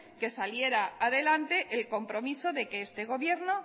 que saliera adelante el compromiso de que este gobierno